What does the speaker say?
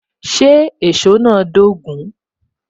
Ṣé èsó náà dogun?